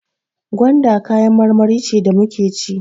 Gwanda kayan marmari ce da muke ci.